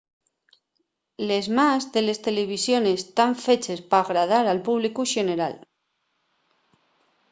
les más de les televisiones tán feches p’agradar al públicu xeneral